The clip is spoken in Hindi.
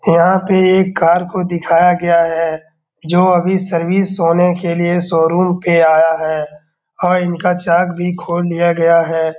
यहाँ पे एक कार को दिखाया गया है जो अभी सर्विस होने के लिए शोरूम पे आया है और इनका चार्ट भी खोल लिया गया है।